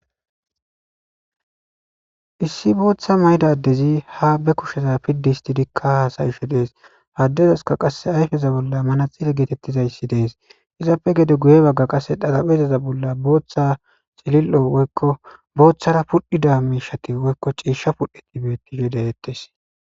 issi booththa mayda ddezi ha be kusheza piddi histidikka haasayisho dees haddezaska qasse ayfeza bolla mana xile geetettizayssi dees izappe gede guye bagga qasse dharabhezaza bolla booththa xilil7o woykko booththara pudhdhida miishati woykko ciishsha pudhdhe tibetti gedehettes